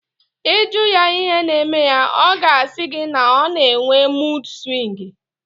Ị jụọ ya ihe na-eme ya, ọ ga-asị gị na ọ na-enwe muud swịngi